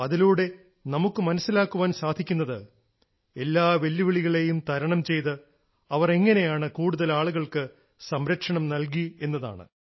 അതിലൂടെ നമുക്ക് മനസ്സിലാക്കാൻ സാധിക്കുന്നത് എല്ലാ വെല്ലുവിളികളെയും തരണം ചെയ്ത് അവർ എങ്ങനെയാണ് കൂടുതൽ ആളുകൾക്ക് സംരക്ഷണം നൽകി എന്നതാണ്